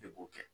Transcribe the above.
E b'o kɛ